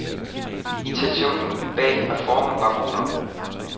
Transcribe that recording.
Intentionen bag reformen var god nok.